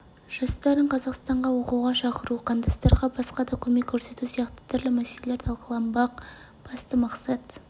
жастарын қазақстанға оқуға шақыру қандастарға басқа да көмек көрсету сияқты түрлі мәселелер талқыланбақ басты мақсат